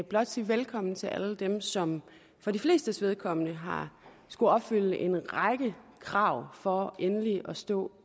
blot sige velkommen til alle dem som for de flestes vedkommende har skullet opfylde en række krav for endelig at stå